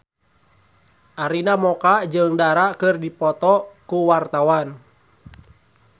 Arina Mocca jeung Dara keur dipoto ku wartawan